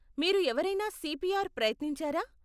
మీరు ఎవరైనా సిపిఆర్ ప్రయత్నించారా?